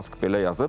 Mask belə yazıb.